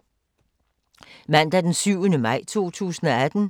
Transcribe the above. Mandag d. 7. maj 2018